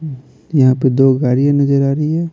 यहाँ पे दो गाड़ियाँ नजर आ रही है।